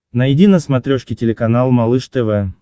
найди на смотрешке телеканал малыш тв